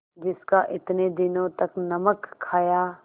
जिसका इतने दिनों तक नमक खाया